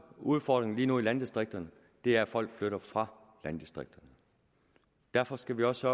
udfordring lige nu i landdistrikterne er at folk flytter fra landdistrikterne derfor skal vi også